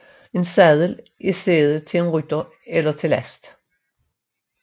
En sadel er sæde til en rytter eller til last